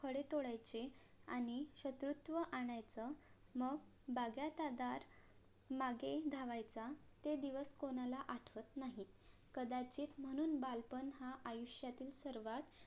फळे तोडायचे आणि शत्रुत्व आणायच मग बागायतदार मागे धावायचा ते दिवस कोणाला आठवत नाही कदाचित म्हणून बालपण हा आयुष्यातील सर्वात